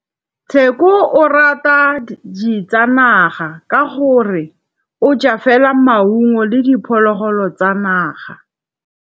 Tshekô o rata ditsanaga ka gore o ja fela maungo le diphologolo tsa naga.